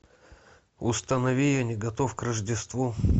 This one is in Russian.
установи я не готов к рождеству